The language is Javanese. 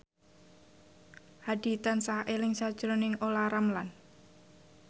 Hadi tansah eling sakjroning Olla Ramlan